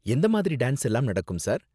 எந்த மாதிரி டான்ஸ் எல்லாம் நடக்கும் சார்?